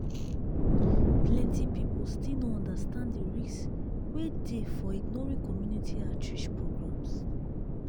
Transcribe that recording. plenty people still no understand the risk wey dey for ignoring community outreach programs.